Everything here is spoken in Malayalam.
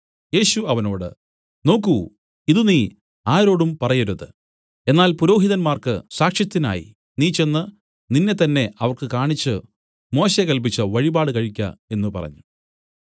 യേശു അവനോട് നോക്കു ഇത് നീ ആരോടും പറയരുത് എന്നാൽ പുരോഹിതന്മാർക്കു സാക്ഷ്യത്തിനായി നീ ചെന്ന് നിന്നെത്തന്നെ അവർക്ക് കാണിച്ചു മോശെ കല്പിച്ച വഴിപാട് കഴിക്ക എന്നു പറഞ്ഞു